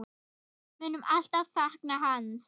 Við munum alltaf sakna hans.